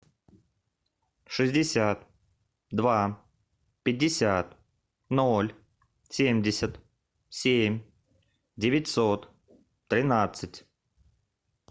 шестьдесят два пятьдесят ноль семьдесят семь девятьсот тринадцать